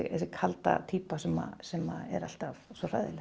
kalda týpa sem sem er alltaf svo hræðileg